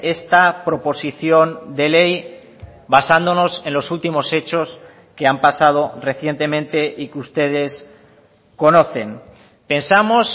esta proposición de ley basándonos en los últimos hechos que han pasado recientemente y que ustedes conocen pensamos